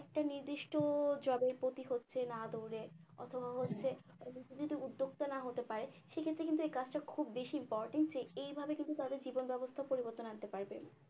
একটা নির্দিষ্ট job এর প্রতি হচ্ছে না দৌড়ে অথবা হচ্ছে যতদিন পর্যন্ত উদ্যোক্তা না হতে পারে সেক্ষেত্রে কিন্তু এই কাজটা খুব বেশি important যে এইভাবে কিন্তু তাদের জীবন ব্যাবস্থার পরিবর্তন আনতে পারবে